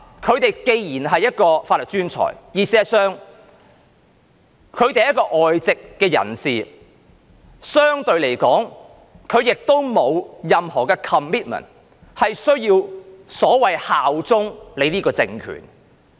他們既然是法律專才，也是外籍人士，相對而言，他們沒有任何 commitment， 需要所謂效忠這個政權。